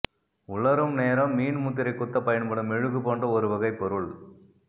உலரும் நேரம் மீன் முத்திரை குத்தப் பயன்படும் மெழுகு போன்ற ஒரு வகைப் பொருள்